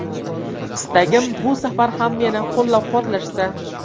Istagim, bu safar ham meni qo‘llab-quvvatlashsa.